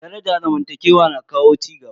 Daraja zamantakewa na kawo cigaba.